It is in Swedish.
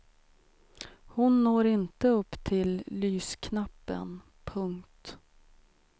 Hon når inte upp till lysknappen. punkt